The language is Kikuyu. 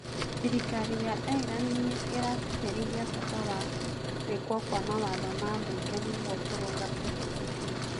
Thirikari ya Ireland nĩ ĩratĩtĩrithia bata wa gwĩkwo kwa mawatho ma mbunge nĩguo kũrũnga ũndũ ũcio.